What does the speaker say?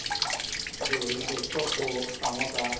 ಇದು ಏನದು egg puff, samosa